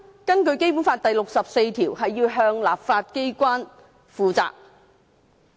根據《基本法》第六十四條，行政機關要向立法機關負責。